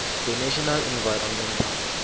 the national environmental